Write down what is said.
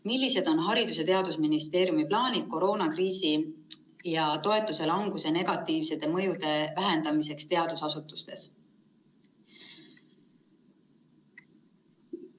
Millised on Haridus‑ ja teadusministeeriumi plaanid koroonakriisi ja toetuste languse negatiivsete mõjude vähendamiseks teadusasutustes?